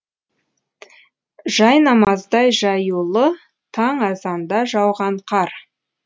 жайнамаздай жаюлы таң азанда жауған қар